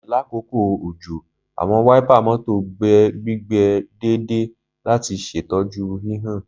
Lakoko ojo, awọn wáípà mọ́tò gbe gbigbe deede lati ṣetọju hihan.